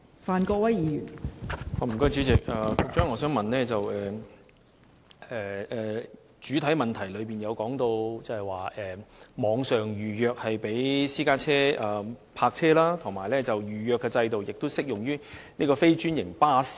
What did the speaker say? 代理主席，主體答覆指出，網上預約制度供私家車泊車使用，而預約制度亦適用於非專營巴士。